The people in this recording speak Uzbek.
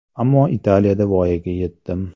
Ammo Italiyada voyaga yetdim.